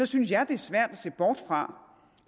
synes jeg det er svært at se bort fra